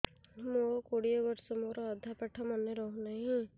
ମୋ କୋଡ଼ିଏ ବର୍ଷ ମୋର ଅଧା ପାଠ ମନେ ରହୁନାହିଁ